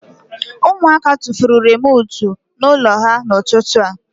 Ụmụaka tufuru remootu ime ụlọ ha n'ụtụtụ a